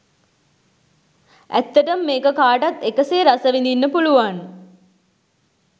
ඇත්තටම මේක කාටත් එක සේ රස විඳින්න පුළුවන්